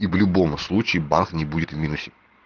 и в любом случае бас ни будет в минусе